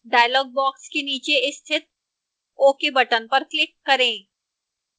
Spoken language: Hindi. dialog box के नीचे स्थित ok button पर click करें